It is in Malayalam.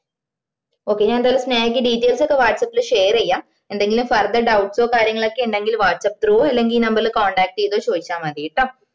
okay ഞാൻ എന്തയാലും സ്നേഹക്ക് details ഒക്ക whatsappshare ചെയ്യ എന്തെങ്കിലും further doubts ഓ കാര്യങ്ങളൊക്കെ ഇണ്ടെങ്കില് വാട്സപ്പ് through അല്ലെങ്കില് ഈ number ല് contact ചെയ്തോ ചോയ്ച്ച മതിട്ടോ